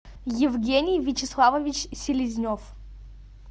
евгений вячеславович селезнев